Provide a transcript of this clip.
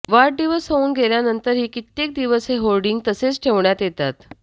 वाढदिवस होऊन गेल्यानंतरही कित्येक दिवस हे होर्डिंग तसेच ठेवण्यात येतात